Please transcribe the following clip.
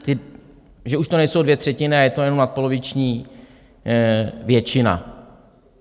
Že už to nejsou dvě třetiny a je to jenom nadpoloviční většina?